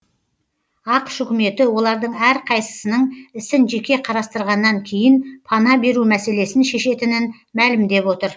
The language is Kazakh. ақш үкіметі олардың әрқайсысының ісін жеке қарастырғаннан кейін пана беру мәселесін шешетінін мәлімдеп отыр